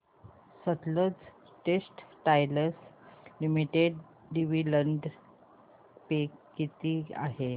Sutlej Textiles Limited dividend pay किती आहे